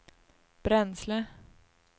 bränsle